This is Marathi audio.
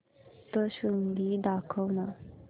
सप्तशृंगी दाखव ना